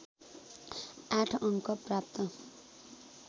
८ अङ्क प्राप्त